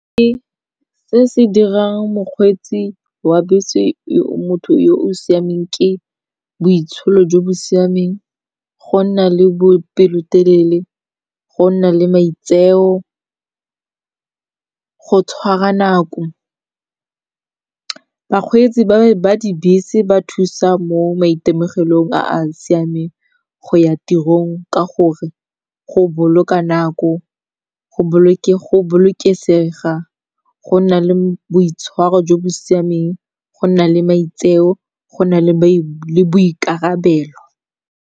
Ke se se dirang mokgweetsi wa bese yo motho yo o siameng ke boitsholo jo bo siameng, go nna le bopelotelele, go nna le maitseo, go tshwara nako. Bakgweetsi ba dibese ba thusa mo maitemogelong a a siameng go ya tirong ka gore go boloka nako, go bolokesega, go nna le boitshwaro jo bo siameng, go nna le maitseo, go nna le boikarabelo.